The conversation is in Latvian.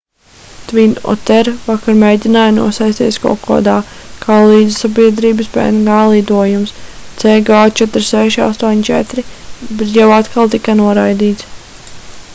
twin otter vakar mēģināja nosēsties kokodā kā lidsabiedrības png lidojums cg4684 bet jau atkal tika noraidīts